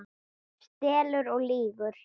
Stelur og lýgur!